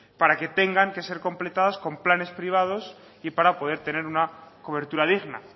para que tengan que ser completados con planes privados y para poder tener una cobertura digna